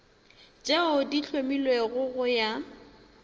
tše di hlomilwego go ya